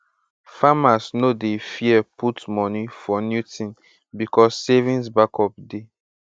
farmers no dey fear put moni for new thing becos savings backup dey